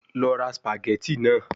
Lọ ra spaghetti naa